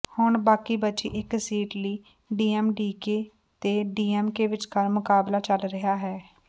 ਹੁਣ ਬਾਕੀ ਬਚੀ ਇਕ ਸੀਟ ਲਈ ਡੀਐਮਡੀਕੇ ਤੇ ਡੀਐਮਕੇ ਵਿਚਕਾਰ ਮੁਕਾਬਲਾ ਚਲ ਰਿਹਾ ਹੈ